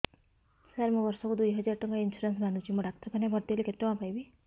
ସାର ମୁ ବର୍ଷ କୁ ଦୁଇ ହଜାର ଟଙ୍କା ଇନ୍ସୁରେନ୍ସ ବାନ୍ଧୁଛି ମୁ ଡାକ୍ତରଖାନା ରେ ଭର୍ତ୍ତିହେଲେ କେତେଟଙ୍କା ପାଇବି